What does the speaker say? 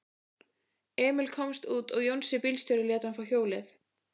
Emil komst út og Jónsi bílstjóri lét hann fá hjólið.